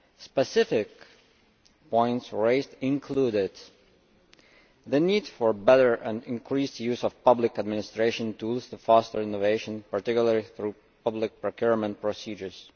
Specific points raised included the need for better and increased use of public administration tools to foster innovation, particularly through public procurement procedures